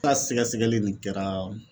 N ka sɛgɛsɛgɛli nin kɛra